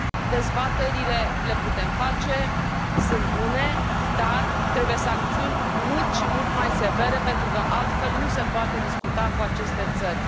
Dezbaterile le putem face, sunt bune, dar trebuie sancțiuni mult și mult mai severe, pentru că altfel nu se poate discuta cu aceste țări.